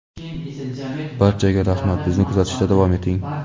Barchaga rahmat bizni kuzatishda davom eting!.